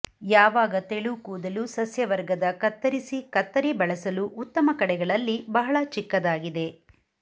ಯಾವಾಗ ತೆಳು ಕೂದಲು ಸಸ್ಯವರ್ಗದ ಕತ್ತರಿಸಿ ಕತ್ತರಿ ಬಳಸಲು ಉತ್ತಮ ಕಡೆಗಳಲ್ಲಿ ಬಹಳ ಚಿಕ್ಕದಾಗಿದೆ